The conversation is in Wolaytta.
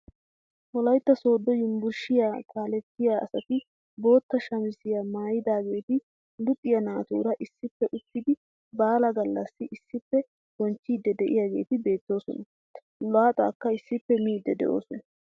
Wolaytta sooddo yunburushiyaa kalettiyaa asati bootta shamisiyaa maayidaageti luxiyaa naatura issippe uttidi baalaa gallassi issippe bonchchidi de'iyaageti beettoosona. laaxaakka issippe miidi de'oosona.